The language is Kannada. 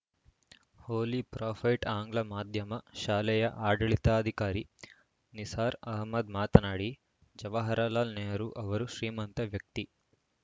ಹೋಲಿ ಪ್ರಾಫೈಟ್‌ ಆಂಗ್ಲ ಮಾಧ್ಯಮ ಶಾಲೆಯ ಆಡಳಿತಾಧಿಕಾರಿ ನಿಸಾರ್‌ ಆಹಮ್ಮದ್‌ ಮಾತನಾಡಿ ಜವಾಹರಲಾಲ್‌ ನೆಹರು ಅವರು ಶ್ರೀಮಂತ ವ್ಯಕ್ತಿ